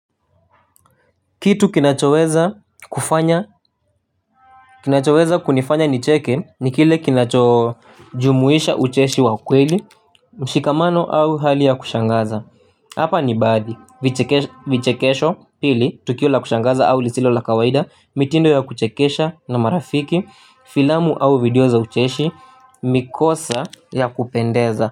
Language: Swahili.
Kitu kinachoweza kufanya, kinachoweza kunifanya nicheke ni kile kinacho jumuisha ucheshi wa kweli, mshikamano au hali ya kushangaza. Hapa ni baadhi, vichekesho pili, tukio la kushangaza au lisilo la kawaida, mitindo ya kuchekesha na marafiki, filamu au video za ucheshi, mikosa ya kupendeza.